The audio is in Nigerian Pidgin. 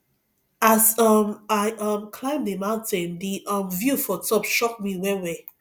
as um i um climb di mountain di um view for top shock me wellwell